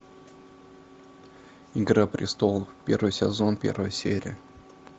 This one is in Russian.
игра престолов первый сезон первая серия